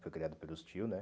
Foi criado pelos tios, né?